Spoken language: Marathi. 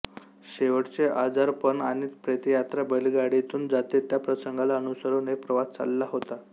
शेवटचे आजारपण आणि प्रेतयात्रा बैलगाडीतून जाते त्या प्रसंगाला अनुसरून एक प्रवास चालला होता